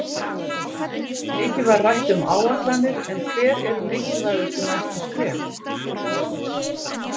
Mikið var rætt um áætlanir en hver eru mikilvægustu næstu skref?